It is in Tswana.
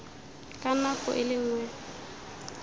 ka nako e le nngwe